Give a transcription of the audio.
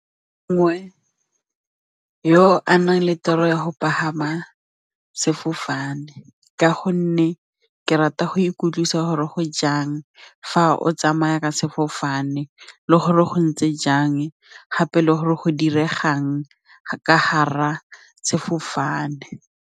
Mongwe yo a nang le tiro ya go pagama sefofane ka gonne ke rata go ikutlwisa gore go jang fa o tsamaya ka sefofane le gore go ntse jang gape le gore go diregang ka gare ga sefofane.